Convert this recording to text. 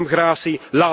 Geef hem gratie!